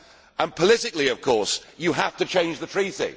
And politically, of course, you have to change the treaty.